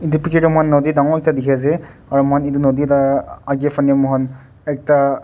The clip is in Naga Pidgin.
edu picture tae moikhan nodi dangor ekta dikhiase aro moikhan edu nodi la akae fanae moikhan ekta--